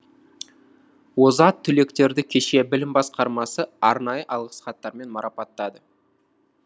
озат түлектерді кеше білім басқармасы арнайы алғыс хаттармен марапаттады